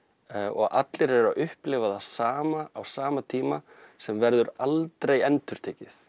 og allir eru að upplifa það sama á sama tíma sem verður aldrei endurtekið